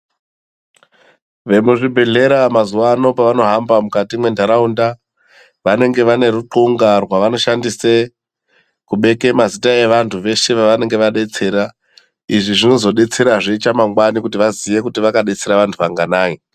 Vemuzvibhedhlera mazuwano pavanohamba mukati mwentaraunda vanenge vanerunxunga rwavanoshshandise kubeke mazita evantu veshe avanenge vadetsera , izvi zvinozodetserazve chamangwani kuti vakadetsera vantu vanganai.